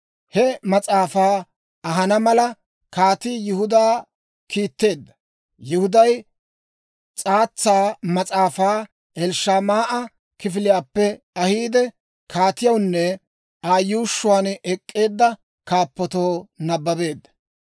He mas'aafaa ahana mala, kaatii Yihuda kiitteedda; Yihuday s'aatsa mas'aafaa Elishamaa'a kifiliyaappe ahiide, kaatiyawunne Aa yuushshuwaan ek'k'eedda kaappatoo nabbabeedda.